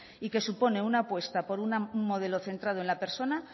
y que supone una apuesta en un modelo centrado en la persona